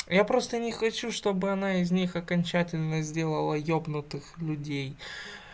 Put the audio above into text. я просто не хочу чтобы она из них окончательно сделала ёбнутых людей